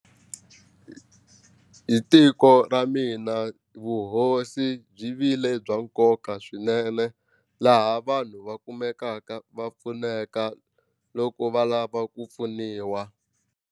Hi tiko ra mina vuhosi byi vile bya nkoka swinene laha vanhu va kumekaka va pfuneka loko va lava ku pfuniwa.